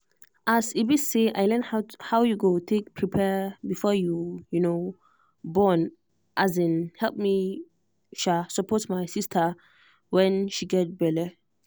as e be say i learn how you go take prepare before you um borne um help me um support my sister when she get belle.